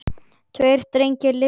Tveir drengir lifðu ekki.